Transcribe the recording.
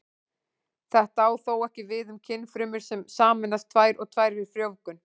Þetta á þó ekki við um kynfrumur sem sameinast tvær og tvær við frjóvgun.